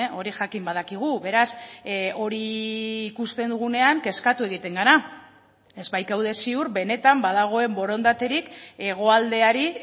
hori jakin badakigu beraz hori ikusten dugunean kezkatu egiten gara ez baikaude ziur benetan badagoen borondaterik hegoaldeari